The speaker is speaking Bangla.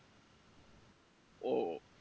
ও